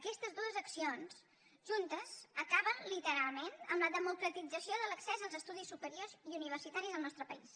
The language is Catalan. aquestes dues accions juntes acaben literalment amb la democratització de l’accés als estudis superiors i universitaris al nostre país